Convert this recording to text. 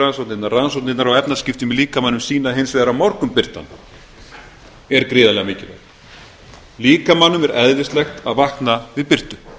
rannsóknirnar á efnaskiptum í líkamanum sýna hins vegar að morgunbirtan er gríðarlega mikilvæg líkamanum er eðlislægt að vakna við birtu